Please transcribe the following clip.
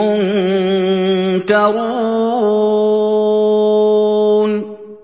مُّنكَرُونَ